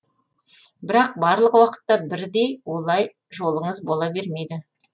бірақ барлық уақытта бірдей олай жолыңыз бола бермейді